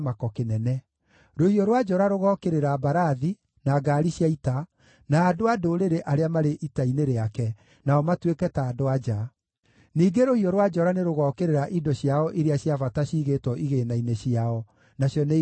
Rũhiũ rwa njora rũgookĩrĩra mbarathi, na ngaari cia ita, na andũ a ndũrĩrĩ arĩa marĩ ita-inĩ rĩake, nao matuĩke ta andũ-a-nja. Ningĩ rũhiũ rwa njora nĩrũgookĩrĩra indo ciao iria cia bata ciigĩtwo igĩĩna-inĩ ciao, nacio nĩigatahwo.